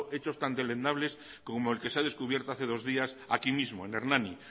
hechos tan deleznables como el que se ha descubierto hace dos días aquí mismo en hernani